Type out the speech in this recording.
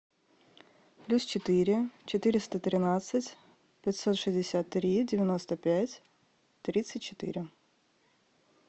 плюс четыре четыреста тринадцать пятьсот шестьдесят три девяносто пять тридцать четыре